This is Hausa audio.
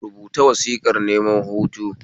Rubata wasiƙar neman hutu